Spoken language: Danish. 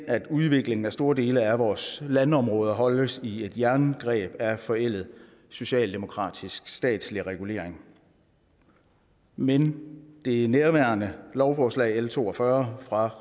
at udviklingen af store dele af vores landområder holdes i et jerngreb af forældet socialdemokratisk statslig regulering men det nærværende lovforslag l to og fyrre fra